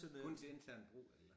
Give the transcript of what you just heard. Kun til intern brug eller?